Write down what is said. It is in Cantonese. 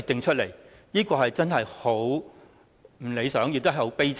這樣真是很不理想，亦很悲慘。